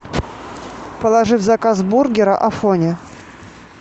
положи в заказ бургера афоня